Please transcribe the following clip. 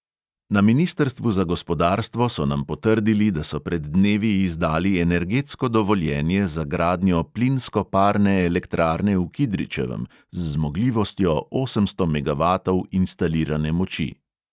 Na ministrstvu za gospodarstvo so nam potrdili, da so pred dnevi izdali energetsko dovoljenje za gradnjo plinsko-parne elektrarne v kidričevem z zmogljivostjo osemsto megavatov instalirane moči.